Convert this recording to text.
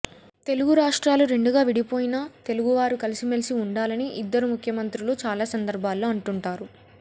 తెలుగు రాష్ట్రాలు రెండుగా విడిపోయినా తెలుగువారు కలిసిమెలిసి ఉండాలని ఇద్దరు ముఖ్యమంత్రులూ చాలా సందర్భాల్లో అంటుంటారు